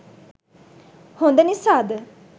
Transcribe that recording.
හොඳ නිසාද?